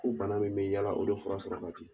Ko bana min bɛ yala o de fura sɔrɔ ka di.